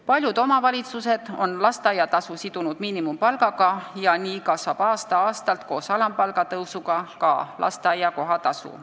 Paljud omavalitsused on lasteaiatasu sidunud miinimumpalgaga ja nii kasvab aasta-aastalt koos alampalga tõusuga ka lasteaia kohatasu.